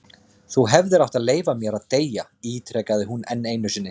Þú hefðir átt að leyfa mér að deyja- ítrekaði hún enn einu sinni.